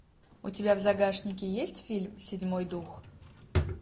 у тебя в загашнике есть фильм седьмой дух